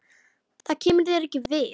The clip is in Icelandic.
Það kemur þér ekki við.